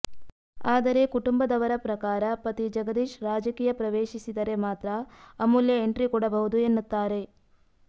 ಆದರೆ ಕುಟುಂಬದವರ ಪ್ರಕಾರ ಪತಿ ಜಗದೀಶ್ ರಾಜಕೀಯ ಪ್ರವೇಶಿಸಿದರೆ ಮಾತ್ರ ಅಮೂಲ್ಯ ಎಂಟ್ರಿ ಕೊಡಬಹುದು ಎನ್ನುತ್ತಾರೆ